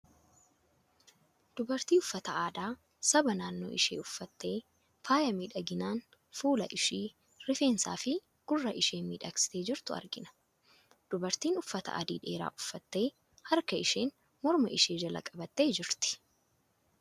Dubartii uffata aadaa saba naannoo ishii uffattee, faaya niidhaginaan fuula ishii, rifeensaa fi gurra ishii miidhagsitee jirtu argina. Dubartiin uffata adii dheeraa uffattee, harka isheen morma ishee jala qabattee jirti.